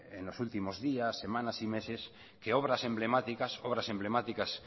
en los últimos días semanas y meses que obras emblemáticas obras emblemáticas